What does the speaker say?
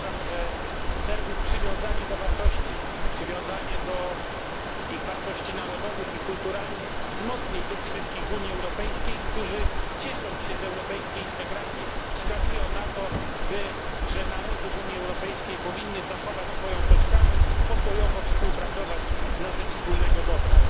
Uważam, że Serbów przywiązanie do wartości, przywiązanie do ich wartości narodowych i kulturalnych wzmocni tych wszystkich w Unii Europejskiej, którzy, ciesząc się z europejskiej integracji, wskazują na to, że narody w Unii Europejskiej powinny zachować swoją tożsamość i pokojowo współpracować na rzecz wspólnego dobra.